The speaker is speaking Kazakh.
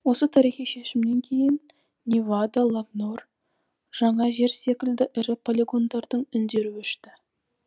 осы тарихи шешімнен кейін невада лобнор жаңа жер секілді ірі полигондардың үндері өшті